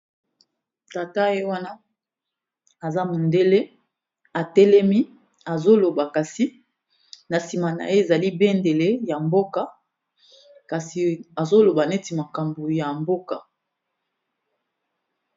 Tata ye wana aza mondele atelemi azoloba kasi na nsima na ye ezali bendele ya mboka kasi azoloba neti makambo ya mboka.